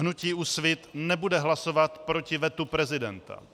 Hnutí Úsvit nebude hlasovat proti vetu prezidenta.